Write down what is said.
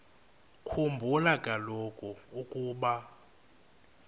khumbula kaloku ukuba